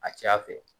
A ca fɛ